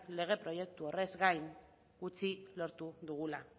lege proiektu horrez gain gutxi lortu dugula